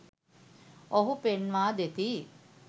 ඔවුහු පෙන්වා දෙති